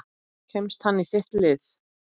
Kemst hann í þitt lið?